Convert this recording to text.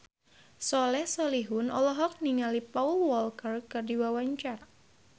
Soleh Solihun olohok ningali Paul Walker keur diwawancara